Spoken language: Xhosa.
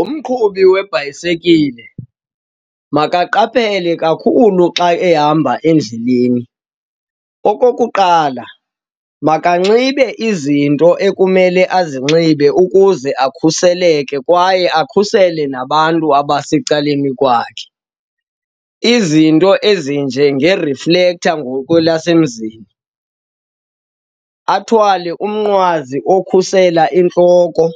Umqhubi webhayisikile makaqaphele kakhulu xa ehamba endleleni. Okokuqala, makanxibe izinto ekumele azinxibe ukuze akhuseleke kwaye akhusele nabantu abasecaleni kwakhe. Izinto ezinjenge-reflector ngokwelasemzini, athwale umnqwazi okhusela intloko